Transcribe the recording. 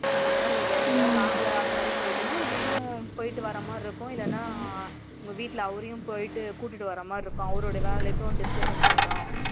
இல்ல நீ வேற எதாவது long லா அந்தமாதிரி போயிடனா நீயும் போயிட்டு வர மாதிரி இருக்கும் இல்லனா உங்க வீட்ல அவரையும் போயிட்டு கூட்டிட்டு வரமாதிரி இருக்கும் அவரோட வேலைக்கும் disturbance ஆகிடும்